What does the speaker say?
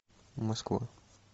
москва